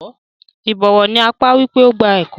Ìbọ̀wọ̀ ni àpá wipe o gba ẹkọ.